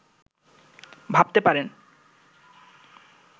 ভাবতে পারেন